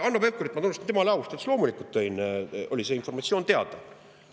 Hanno Pevkurit ma tunnustan, tema oli aus ja ütles, et loomulikult oli see informatsioon teada.